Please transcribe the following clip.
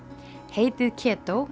heitið